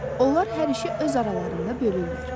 Onlar hər işi öz aralarında bölürlər.